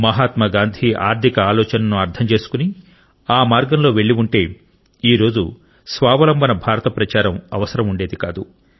మహాత్మా గాంధీ ఆర్ధిక ఆలోచనను అర్థం చేసుకుని ఆ మార్గంలో వెళ్ళి ఉంటే ఈ రోజు స్వావలంబన భారత ప్రచారం అవసరం ఉండేది కాదు